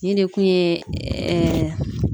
Nin de kun ye